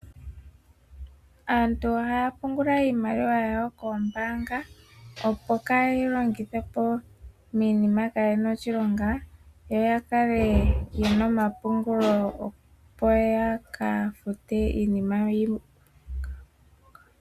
Aantu ohaya pungula iimaliwa yawo koombanga opo kayeyi longithepo miinima kayina oshilonga yoya kale yena omapungulo opo yaka fute iinima yawo yimwe.